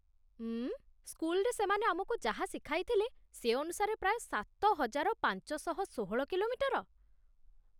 ଉଁ.., ସ୍କୁଲରେ ସେମାନେ ଆମକୁ ଯାହା ଶିଖାଇଥିଲେ, ସେ ଅନୁସାରେ ପ୍ରାୟ ସାତ ହଜାର ପାଞ୍ଚଶହ ଷୋହଳ କିଲୋମିଟର?